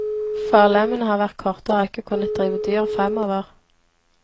Forlemmene har vært korte og har ikke kunnet drive dyret fremover.